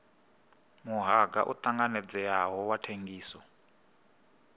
muhanga u tanganedzeaho wa thengiso